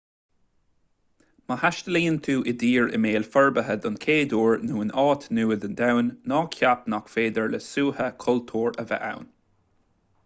má thaistealaíonn tú i dtír i mbéal forbartha den chéad uair nó in áit nua den domhan ná ceap nach féidir le suaitheadh cultúir a bheith ann